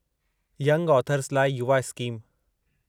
young authors लाइ Yuva scheme